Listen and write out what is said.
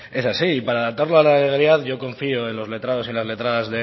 es así y para adaptarlo a la realidad yo confío en los letrados y las letradas